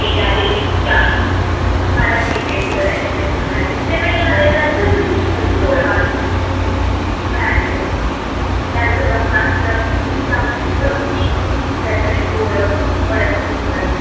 मला detend करायचं जे आले त्याचं त विषयच सोडा अजून काय मग त्याचं ब्रह्मास्त्र exam ची धमकी त्याचेने पोर परत फिरतात